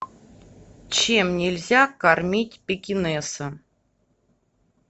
чем нельзя кормить пекинеса